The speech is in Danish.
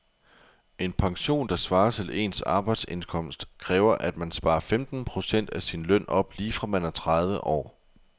En pension, der svarer til ens arbejdsindkomst, kræver at man sparer femten procent af sin løn op lige fra man er tredive år.